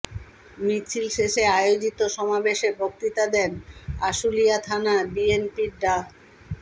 মিছিল শেষে আয়োজিত সমাবেশে বক্তব্য দেন আশুলিয়া থানা বিএনপির ডা